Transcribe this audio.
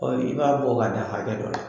Ɔ i b'a bɔ ka dan hakɛ dɔ la.